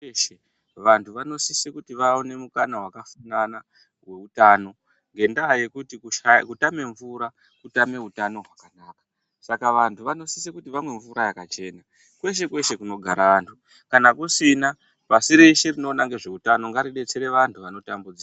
Vantu vanosise kuti vawane mukana wakasiyana weutano ngendaa yekuti kutame mvura kutame utano hwakanaka .Saka vantu vanositse kuti vamwe mvura yakachena kweshe kweshe kunogara antu, kana kusina pashi reshe rinoona ngezveutano ngaridetsere vantu vanotambudzika .